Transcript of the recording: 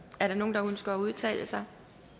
er der nogen der ønsker at udtale sig